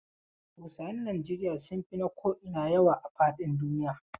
Hausawan Nijeriya sun fi na ko'ina yawa a fadin duniya.